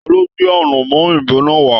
Talo gbé anamọ òyìnbó náà wa?